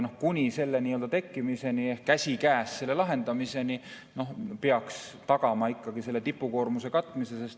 Aga kuni selle tekkimiseni peaks käsikäes selle lahendamisega tagama ikkagi tipukoormuse katmise.